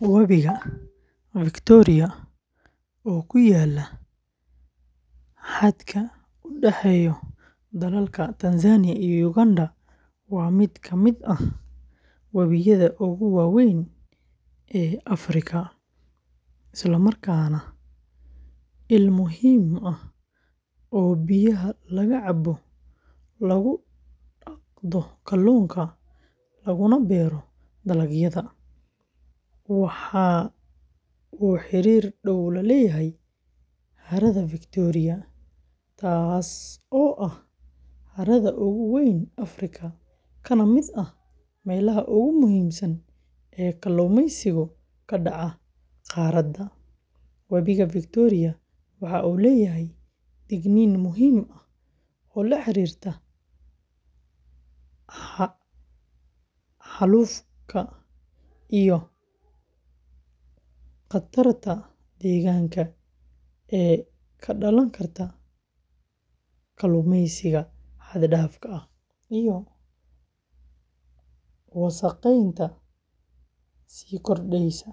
Wabiga, oo ku yaalla xadka u dhexeeya dalalka Tanzania iyo Uganda, waa mid ka mid ah wabiyada ugu waaweyn ee Afrika isla markaana ah il muhiim ah oo biyaha laga cabo, lagu dhaqdo kalluunka, laguna beero dalagyada. Waxa uu xiriir dhow la leeyahay harada, taasoo ah harada ugu weyn Afrika, kana mid ah meelaha ugu muhiimsan ee kalluumaysiga ka dhaca qaaradda. Wabiga waxa uu leeyahay digniin muhiim ah oo la xiriirta xaalufka iyo khatarta deegaanka ee ka dhalan karta kalluumaysiga xad-dhaafka ah iyo wasakheynta sii kordheysa.